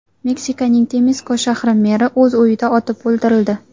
Meksikaning Temisko shahri meri o‘z uyida otib o‘ldirildi.